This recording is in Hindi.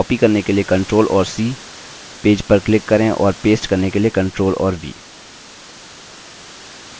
अतः copy करने के लिए ctrl और c पेज पर click करें और paste करने के लिए ctrl और v